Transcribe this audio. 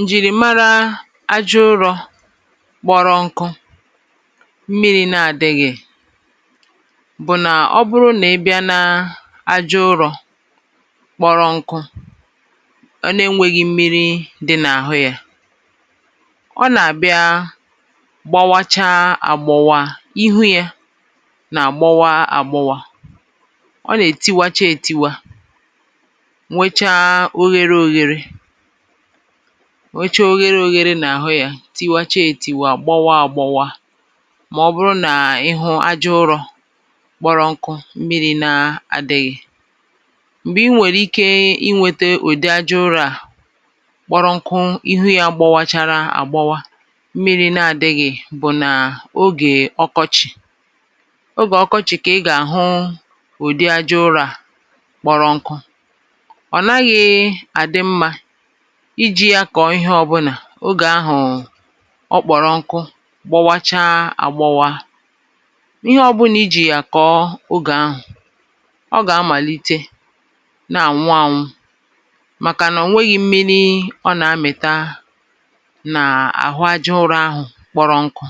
ǹjìrìmara aja ụrọ̄ kpọrọ nkụ, mmirī na adīghì, bụ̀ nà ọ bụrụ nà ị bịa na aja ụrọ̄ kpọrọ nkụ, a na e nweghi mmirī dị nà àhụ ya, ọ nà àbịa gbawacha agbọwa, ihu ya nà àgbọwa agbọwa, tiwacha etiwa, nwecha ohēre ohēre, nwecha ohēre ohēre nà àhụ ya, tiwacha etiwa, gbọwa agbọwa, mà ọ bụrụ nà ịhụ aja ụrọ̄ kpọrọ nkụ, mmirī na adighi. m̀gbè ị nwẹ̀rẹ̀ ike iwete ụ̀dị aja ụrọ̄ à, kpọrọ nkụ, ihu ya gbọwachara àgbọwa, mmirī na adịghị̀, bụ̀ nà ogè ọkọchị̀. ogè ọkọchị̀ kà ị gà àhụ ụ̀ị aja ụrọ̄ à kpọrọ nkụ. ọ̀ naghị àdị mmā ijī ya kọ̀ọ ịhẹ ọbụnà ogè ahụ̀ ọ kpọrọ nkụ, gbọwacha agbọwa, ịhẹ ọbụnà ijī yà kọ̀ọ ogè ahụ̀, ọ gà amàlite nà ànwụ anwụ, màkà nà ọ nwẹghị mmiri ọ nà amịta n’àhụ aja ụrọ̄ ahụ̄ kpọrọ nkụ.